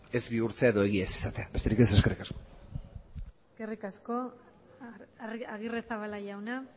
ez bihurtzea edo egia ez izatea besterik ez eskerrik asko eskerrik asko agirrezabala jauna